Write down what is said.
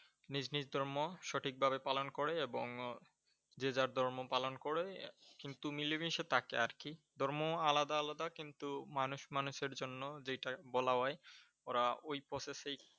নিজ নিজ ধর্ম সঠিক ভাবে পালন করে এবং যে যার ধর্ম পালন করে, কিন্তু মিলে মিশে থাকে আর কি। ধর্ম আলাদা আলাদা কিন্তু মানুষ মানুষের জন্য যেইটা বলা হয় ওরা ওই Process এই